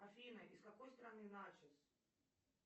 афина из какой страны начос